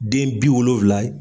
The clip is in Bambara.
Den bi wolonfla ye